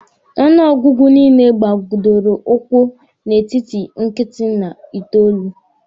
Ọnụ ọgụgụ niile gbadoro ụkwụ n'etiti nkịtị na itoolu.